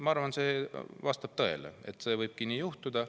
Ma arvan, see vastab tõele, nii võibki juhtuda.